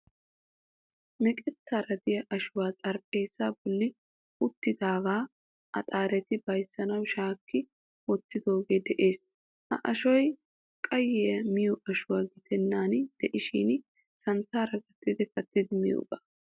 Meqettaara de'iya ashuwa xarapheezzaa bolli uttidaagaa axaareti bayzzanawu shaakki wottidoogee de'ees. Ha ashoy qayye miyo ashuwa gidennan de'ishin santtaara gattidi kattidi miyogaa.